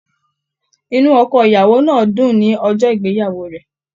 Inú ọkọ ìyàwó náà n dùn ní ọjọ ìgbéyàwó rẹ.